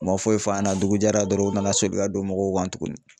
U ma foyi f'an yɛna dugu jɛra dɔrɔn u nana soli ka don mɔgɔw kan tuguni.